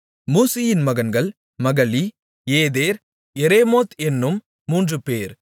மூசியின் மகன்கள் Mahli Eder Jerimoth என்னும் மூன்றுபேர்